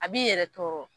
A b'i yɛrɛ tɔɔrɔ